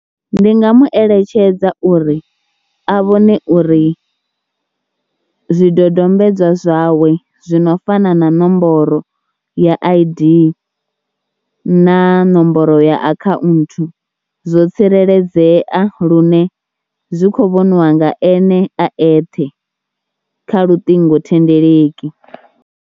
Ndi nga mueletshedza uri a vhone uri zwidodombedzwa zwawe zwi no fana na nomboro ya I_D na nomboro ya akhaunthu zwo tsireledzea lune zwi khou vhoniwa nga ene a eṱhe kha luṱingothendeleki.